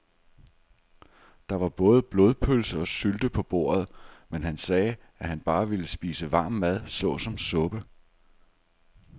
Der var både blodpølse og sylte på bordet, men han sagde, at han bare ville spise varm mad såsom suppe.